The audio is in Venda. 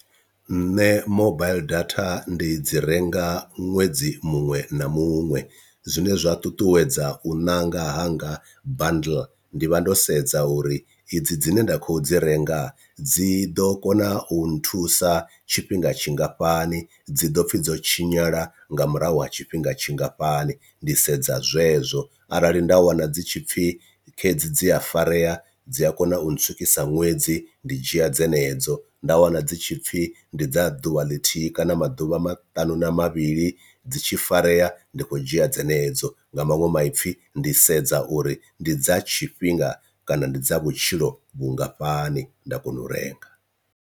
Nṋe mobile datha ndi dzi renga ṅwedzi muṅwe na muṅwe zwine zwa ṱuṱuwedza u ṋanga hanga bundle ndi vha ndo sedza uri idzi dzine nda kho dzi renga dzi ḓo kona u nthusa tshifhinga tshingafhani, dzi ḓo pfhi dzo tshinyala nga murahu ha tshifhinga tshingafhani ndi sedza zwezwo, arali nda wana dzi tshipfi dzi a farea dzi a kona u ntswikisa ṅwedzi ndi dzhia dzenedzo, nda wana dzi tshipfi ndi dza ḓuvha ḽithihi kana maḓuvha matanu na mavhili dzi tshi farea ndi khou dzhia dzenedzo nga maṅwe maipfi ndi sedza uri ndi dza tshifhinga kana ndi dza vhutshilo vhungafhani nda kona u renga.